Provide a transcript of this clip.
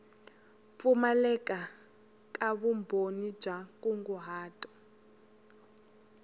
pfumaleka ka vumbhoni bya nkunguhato